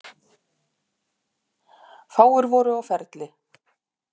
Fáir voru á ferli.